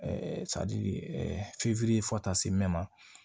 fo taa se mɛ